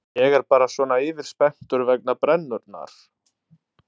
Ég er bara svona yfirspenntur vegna brennunnar.